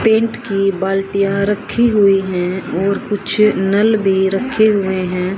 Paint की बाल्टियां रखी हुई हैं और कुछ नल भी रखे हुए हैं।